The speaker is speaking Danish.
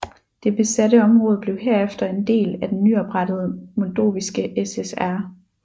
Det besatte område blev herefter en del af den nyoprettede Moldoviske SSR